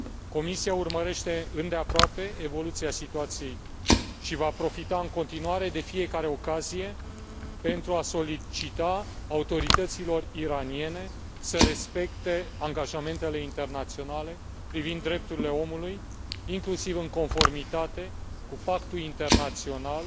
Comisia urmărește îndeaproape evoluția situației și va profita în continuare de fiecare ocazie pentru a solicita autorităților iraniene să respecte angajamentele internaționale privind drepturile omului, inclusiv în conformitate cu Pactul Internațional